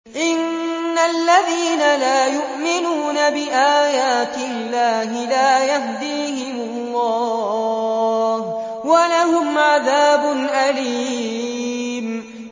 إِنَّ الَّذِينَ لَا يُؤْمِنُونَ بِآيَاتِ اللَّهِ لَا يَهْدِيهِمُ اللَّهُ وَلَهُمْ عَذَابٌ أَلِيمٌ